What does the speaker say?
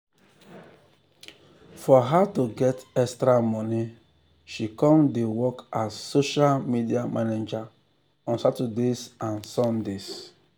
for her to get extra money she come come dey work as a social media manager on saturdays and sundays.